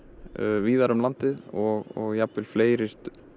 víðar um landið og jafnvel fleiri